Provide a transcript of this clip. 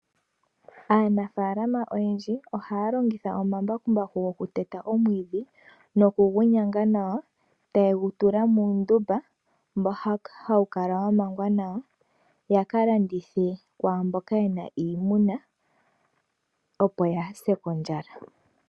Aanafaalama oyendji ohaya longitha oma mbakumbaku goku teta omwiidhi, nokugu nyanga nawa taye gu tula muundumba, mboka hawu kala wa mangwa nawa yaka landithe kwaamboka yena iimuna opo yaase kondjala.